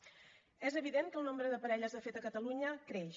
és evident que el nombre de parelles de fet a catalunya creix